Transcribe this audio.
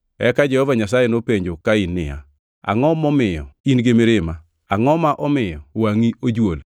Eka Jehova Nyasaye nopenjo Kain niya, “Angʼo ma omiyo in-gi mirima? Angʼo ma omiyo wangʼi ojuol?